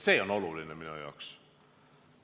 See on minu jaoks oluline.